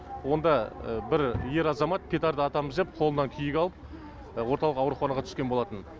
онда бір ер азамат петарда атамыз деп қолынан күйік алып орталық ауруханаға түскен болатын